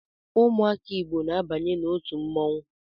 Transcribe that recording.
Ụmụaka Igbo na-abanye n’otu mmonwu